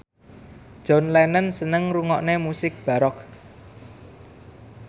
John Lennon seneng ngrungokne musik baroque